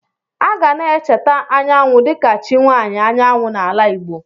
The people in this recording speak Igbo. A ga na-echeta Anyanwụ dịka chi nwaanyị anyanwụ n'ala Igbo.